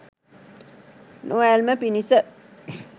නොඇල්ම පිණිස